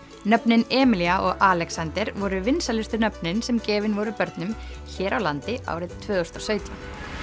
nöfnin Emilía og Alexander voru vinsælustu nöfnin sem gefin voru börnum hér á landi árið tvö þúsund og sautján